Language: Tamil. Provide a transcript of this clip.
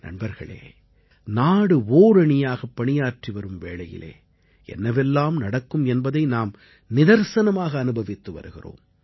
நண்பர்களே நாடு ஓரணியாகப் பணியாற்றி வரும் வேளையிலே என்னவெல்லாம் நடக்கும் என்பதை நாம் நிதர்சனமாக அனுபவித்து வருகிறோம்